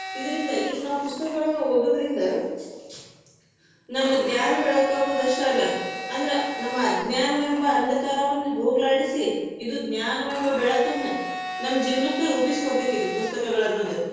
ಇದರಿಂದ ಈಗ ನಾವ್ ಪುಸ್ತಕಗಳನ್ನ ಓದುದರಿಂದ, ನಮ್ಮ ಜ್ಞಾನ ಬೆಳಕಾಗುವುದು ಅಷ್ಟ ಅಲ್ಲ ಅಂದ್ರ ನಮ್ಮ ಅಜ್ಞಾನವೆಂಬ ಅಂದಕಾರವನ್ನು ಹೊಗಲಾಡಿಸಿ, ಇದು ಜ್ಞಾನವೆಂಬ ಬೆಳಕನ್ನ ನಮ್ಮ ಜೀವನಕ್ಕ ರೂಪಿಸಿ ಕೊಡತೇತಿ, ಇದು ಪುಸ್ತಕಗಳನ್ನೋದು.